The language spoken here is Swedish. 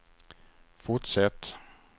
fortsätt